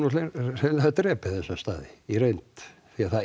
hreinlega drepið þessa staði í reynd því það